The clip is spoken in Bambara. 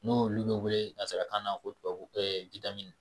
N'olu bi welee nazarakan na ko tubabu